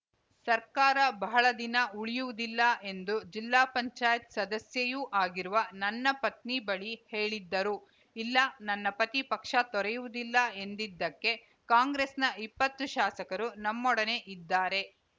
ಸರ್ಕಾರ ಬಹಳ ದಿನ ಉಳಿಯುವುದಿಲ್ಲ ಎಂದು ಜಿಲ್ಲಾ ಪಂಚಾಯತ್ ಸದಸ್ಯೆಯೂ ಆಗಿರುವ ನನ್ನ ಪತ್ನಿ ಬಳಿ ಹೇಳಿದ್ದರು ಇಲ್ಲ ನನ್ನ ಪತಿ ಪಕ್ಷ ತೊರೆಯುವುದಿಲ್ಲ ಎಂದಿದ್ದಕ್ಕೆ ಕಾಂಗ್ರೆಸ್‌ನ ಇಪ್ಪತ್ತು ಶಾಸಕರು ನಮ್ಮೊಡನೆ ಇದ್ದಾರೆ